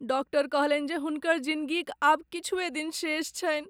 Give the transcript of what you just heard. Doctor कहलनि जे हुनकर जिनगीक आब किछुए दिन शेष छनि।